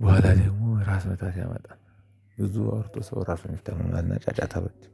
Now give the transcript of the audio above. በኋላ ደግሞ ራስ ምታት ያመጣል። ብዙ አውርቶ ሰው ራሱን ይታመማል እና ጫጫታ አልወድም